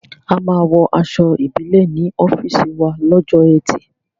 A máa wọ aṣọ Ìbílẹ̀ ní ọ́fíìsì wa lọ́jọ́ ẹtì